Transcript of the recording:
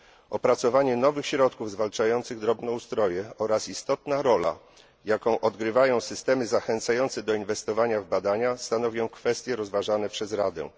Opracowanie nowych środków zwalczających drobnoustroje oraz istotna rola, jaką odgrywają systemy zachęcające do inwestowania w badania, stanowią kwestie rozważane przez Radę.